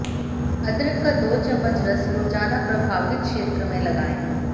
अदरक का दो चम्मच रस रोजाना प्रभावित क्षेत्र में लगाये